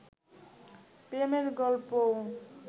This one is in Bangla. প্রেমের গল্পও